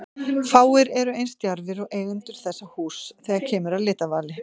Fáir eru eins djarfir og eigendur þessa húss þegar kemur að litavali.